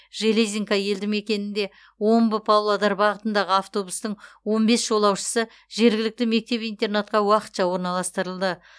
железинка елді мекенінде омбы павлодар бағытындағы автобустың он бес жолаушысы жергілікті мектеп интернатқа уақытша орналастырылды